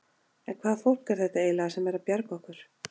En hvaða fólk er þetta eiginlega sem er að bjarga okkur?